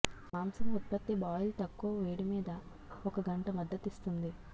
మాంసం ఉత్పత్తి బాయిల్ తక్కువ వేడి మీద ఒక గంట మద్దతిస్తుంది